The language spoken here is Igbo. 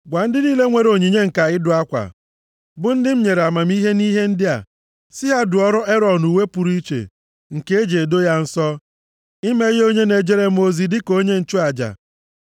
Gwa ndị niile nwere onyinye ǹka nʼịdụ akwa, bụ ndị m nyere amamihe nʼihe ndị a, sị ha dụọrọ Erọn uwe pụrụ iche, nke e ji edo ya nsọ, ime ya onye na-ejere m ozi dịka onye nchụaja.